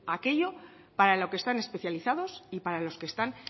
aquello para lo que están especializados y para los que están